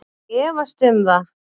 Ég efst um það